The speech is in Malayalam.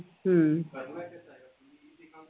ഉം